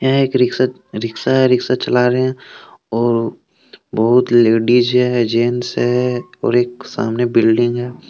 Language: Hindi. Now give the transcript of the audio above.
यहां एक रिक्शा रिक्शा है रिक्शा चला रहे हैं और बहुत लेडीज हैं जेंट्स हैं और एक सामने बिल्डिंग है।